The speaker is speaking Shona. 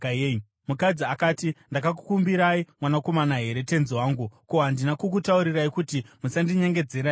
Mukadzi akati, “Ndakakukumbirai mwanakomana here, tenzi wangu? Ko, handina kukutaurirai kuti musandinyengedzera here?”